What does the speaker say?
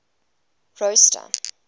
rosta